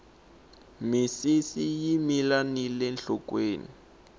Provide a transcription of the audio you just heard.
misisi yi mila nile nhlokweni